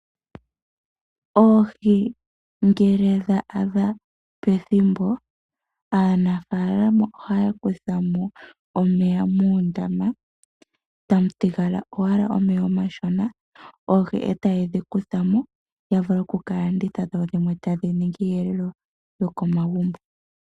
Oohi ngele dha adha pethimbo aanafalama ohaya kuthamo omeya muundama tamu thigala owala omeya omashona oohi ee taye dhi kuthamo yavule okukalanditha dho dhimwe tadhi ningi iihelelwa yokomagumbo.